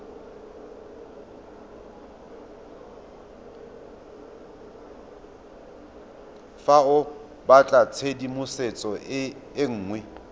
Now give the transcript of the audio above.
fa o batlatshedimosetso e nngwe